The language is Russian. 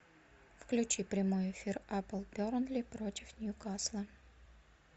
включи прямой эфир апл бернли против ньюкасла